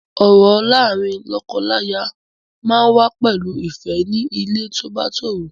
Ọ̀rọ̀ láàárín lọ́kọláya máa ń wà pẹ̀lú ìfẹ́ ní ilé tó bá tòrò.